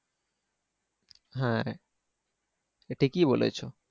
হ্যাঁ ঠিকই বলেছো।